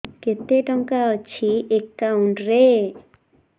କେତେ ଟଙ୍କା ଅଛି ଏକାଉଣ୍ଟ୍ ରେ